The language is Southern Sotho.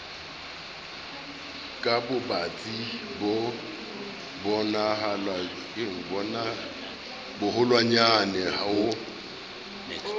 ka bobatsi bo boholwanyane ho